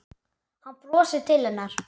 Hann brosir til hennar.